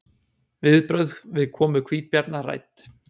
Viðbrögð við komu hvítabjarna rædd